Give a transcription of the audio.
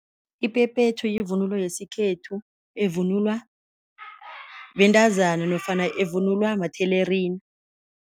Iphephethu yivunulo yesikhethu evunulwa bentazana nofana evunulwa mathelerina.